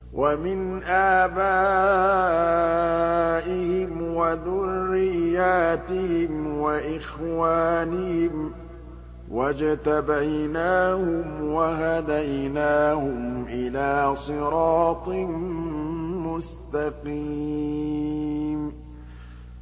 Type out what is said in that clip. وَمِنْ آبَائِهِمْ وَذُرِّيَّاتِهِمْ وَإِخْوَانِهِمْ ۖ وَاجْتَبَيْنَاهُمْ وَهَدَيْنَاهُمْ إِلَىٰ صِرَاطٍ مُّسْتَقِيمٍ